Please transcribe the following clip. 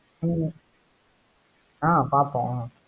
ஹம் ஆஹ் பாப்போம்